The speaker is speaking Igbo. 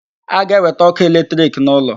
A ga-ewete ọkụ electric n'ụlọ